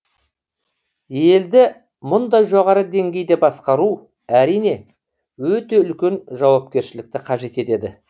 елді мұндай жоғары деңгейде басқару әрине өте үлкен жауапкершілікті қажет етеді